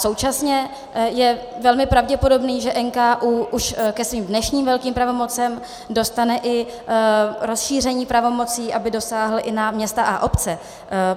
Současně je velmi pravděpodobné, že NKÚ už ke svým dnešním velkým pravomocem dostane i rozšíření pravomocí, aby dosáhl i na města a obce.